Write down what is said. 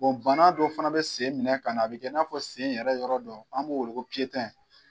bana dɔw fana bɛ sen minɛ ka na, a bɛ kɛ i n'a fɔ sen yɛrɛ yɔrɔ dɔ an b'o wele ko